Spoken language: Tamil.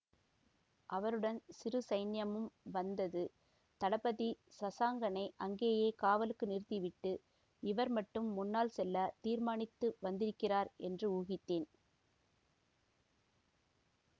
அவருடன் சிறு சைன்யமும் வந்தது தளபதி சசாங்கனை அங்கேயே காவலுக்கு நிறுத்தி விட்டு இவர் மட்டும் முன்னால் செல்ல தீர்மானித்து வந்திருக்கிறார் என்று ஊகித்தேன்